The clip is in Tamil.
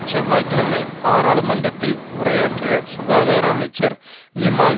செவ்வாய் கிழமை பாராளுமன்றத்தில் உரையாற்றிய சுகாதார அமைச்சர் நிமால்